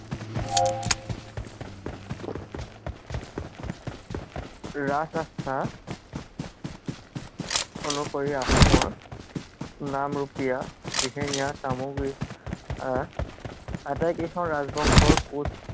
ৰাজআস্থা কব পাৰি আহোমৰ নামৰূপীয়া, দিহিঙীয়া, চামগুৰি, আটাই কেইখন ৰাজবংশৰ